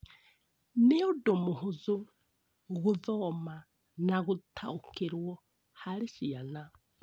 Nĩ ũndũ mũhũthũ gũthoma na gũtaũkĩrũo harĩ ciana.